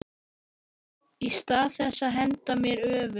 Í stað þess að henda mér öfug